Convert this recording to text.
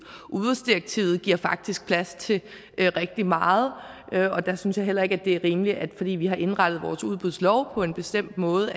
udbudsdirektivet giver faktisk plads til rigtig meget og der synes jeg heller ikke det er rimeligt at fordi vi har indrettet vores udbudslov på en bestemt måde